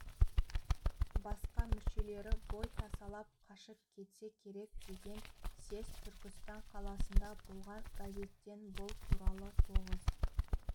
басқа мүшелері бой тасалап қашып кетсе керек деген съезд түркістан қаласында болған газеттен бұл туралы тоғыз